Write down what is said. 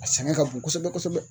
A sɛgɛn ka bon kosɛbɛ kosɛbɛ.